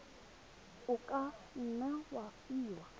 o ka nne wa fiwa